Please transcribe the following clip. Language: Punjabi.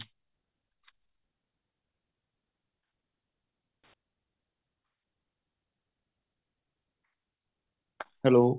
hello